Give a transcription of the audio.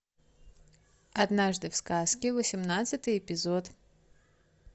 однажды в сказке восемнадцатый эпизод